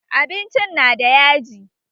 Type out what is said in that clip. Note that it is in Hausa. Abincin na da yaji